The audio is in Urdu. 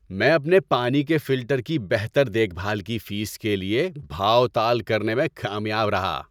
میں اپنے پانی کے فلٹر کی بہتر دیکھ بھال کی فیس کے لیے بھاؤ تال کرنے میں کامیاب رہا۔